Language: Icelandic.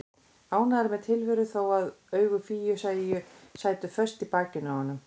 Ánægður með tilveruna þó að augu Fíu sætu föst í bakinu á honum.